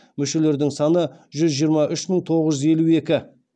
мүшелердің саны жүз жиырма үш мың тоғыз жүз елу екі